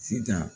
Sitan